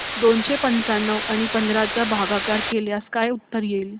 दोनशे पंच्याण्णव आणि पंधरा चा भागाकार केल्यास काय उत्तर येईल